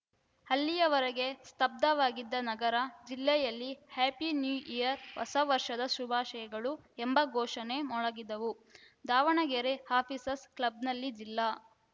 ಅಲ್ಲಿವರೆಗೆ ಸ್ತಬ್ಧವಾಗಿದ್ದ ನಗರ ಜಿಲ್ಲೆಯಲ್ಲಿ ಹ್ಯಾಪಿ ನ್ಯೂ ಇಯರ್‌ ಹೊಸ ವರ್ಷದ ಶುಭಾಶಯಗಳು ಎಂಬ ಘೋಷಣೆ ಮೊಳಗಿದವು ದಾವಣಗೆರೆ ಆಫೀಸರ್ಸ್ ಕ್ಲಬ್‌ನಲ್ಲಿ ಜಿಲ್ಲಾ